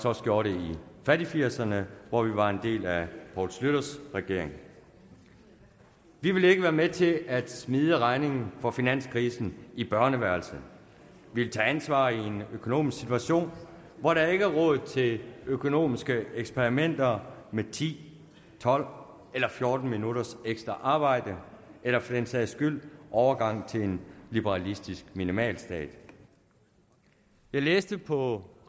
også gjorde det i fattigfirserne hvor vi var en del af poul schlüters regering vi vil ikke være med til at smide regningen for finanskrisen i børneværelset vi vil tage ansvar i en økonomisk situation hvor der ikke er råd til økonomiske eksperimenter med ti tolv eller fjorten minutters ekstra arbejde eller for den sags skyld overgang til en liberalistisk minimalstat jeg læste forleden på